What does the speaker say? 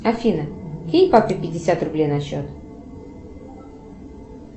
афина кинь папе пятьдесят рублей на счет